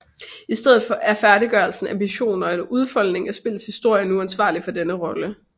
I stedet er færdiggørelsen af missioner og udfoldning af spillets historie nu ansvarlig for denne rolle